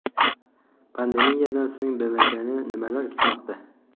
Pandemiyadan so‘ng BMTni nimalar kutmoqda?